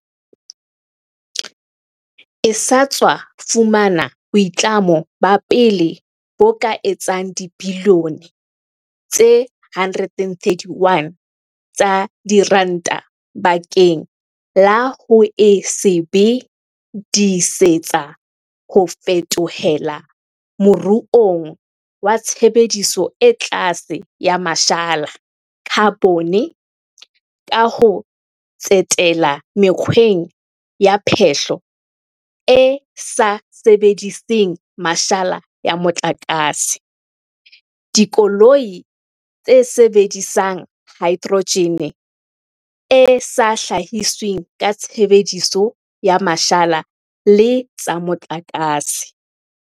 e sa tswa fumana boitlamo ba pele bo ka etsang dibilione tse 131 tsa diranta bakeng la ho e sebe disetsa ho fetohela moruong wa tshebediso e tlase ya ma shala, khabone, ka ho tsetela mekgweng ya phehlo e sa sebediseng mashala ya mo tlakase, dikoloi tse sebedisang haedrojene e sa hlahisweng ka tshebediso ya mashala le tsa motlakase.